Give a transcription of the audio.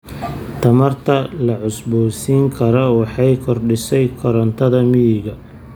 Tamarta la cusboonaysiin karo waxay kordhisay korontada miyiga.